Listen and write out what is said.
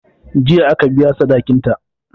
Jiya aka biya sadikinta.